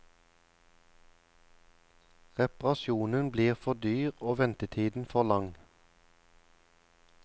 Reparasjonen blir for dyr og ventetiden for lang.